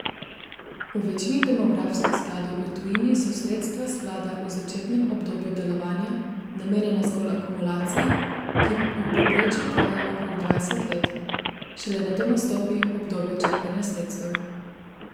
V večini demografskih skladov v tujini so sredstva sklada v začetnem obdobju delovanja namenjena zgolj akumulaciji, ki v povprečju traja okrog dvajset let, šele nato nastopi obdobje črpanja sredstev.